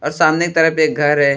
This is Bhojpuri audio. और सामने तरफ एक घर है।